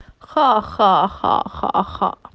ха-ха-ха